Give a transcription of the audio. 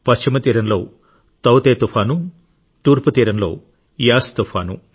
పశ్చిమ తీరంలో తౌ తె తుఫాను తూర్పు తీరంలో యాస్ తుఫాను